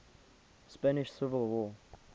spanish civil war